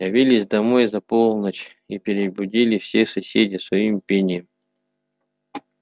явились домой за полночь и перебудили всех соседей своим пением